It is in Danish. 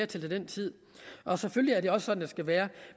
til den tid og selvfølgelig er det også sådan det skal være